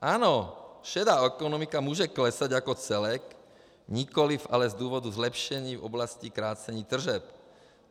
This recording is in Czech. Ano, šedá ekonomika může klesat jako celek, nikoliv ale z důvodu zlepšení v oblasti krácení tržeb.